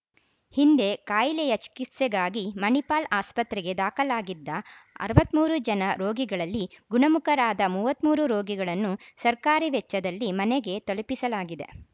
ಹಿಂದೆ ಕಾಯಿಲೆಯ ಚಿಕಿತ್ಸೆಗಾಗಿ ಮಣಿಪಾಲ್‌ ಆಸ್ಪತ್ರೆಗೆ ದಾಖಲಾಗಿದ್ದ ಅರವತ್ತ್ ಮೂರು ಜನ ರೋಗಿಗಳಲ್ಲಿ ಗುಣಮುಖರಾದ ಮೂವತ್ತ್ ಮೂರು ರೋಗಿಗಳನ್ನು ಸರ್ಕಾರಿ ವೆಚ್ಚದಲ್ಲಿ ಮನೆಗೆ ತಲುಪಿಸಲಾಗಿದೆ